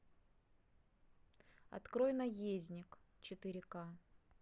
открой наездник четыре к